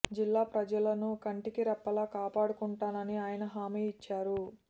జిల్లా ప్రజలను కంటికి రెప్పలా కాపాడుకుంటానని ఆయన హామీ ఇచ్చారు